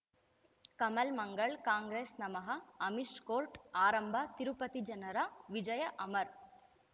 ಕಮಲ್ ಮಂಗಳ್ ಕಾಂಗ್ರೆಸ್ ನಮಃ ಅಮಿಷ್ ಕೋರ್ಟ್ ಆರಂಭ ತಿರುಪತಿ ಜನರ ವಿಜಯ ಅಮರ್